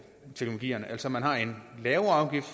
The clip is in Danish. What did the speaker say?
teknologierne altså at man har en lavere afgift